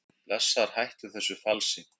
Blessaður hættu þessu falsi!